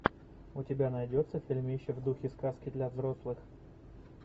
у тебя найдется фильмище в духе сказки для взрослых